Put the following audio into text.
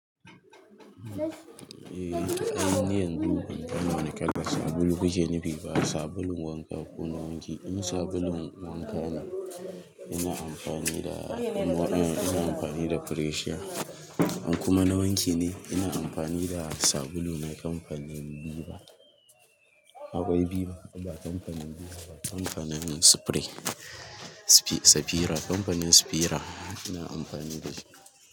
Eh, ai ni yanzu diya unguwar mu ana kada sabulun gajiyayyen Biba, sabulun wanka ko na wanki. In sabulun wanka ne, ina amfani da, ina amfani da fresha. In kuma na wanki ne, ina amfani da sabulu na kamfanin viva. Akwai Viva, ba kamfanin Viva ba, kamfanin spray, safira, kamfanin safira ina amfani da shi.